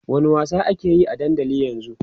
wani wasa akeyi a dandali ƴan zun?